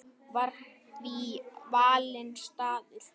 Var því valinn staður í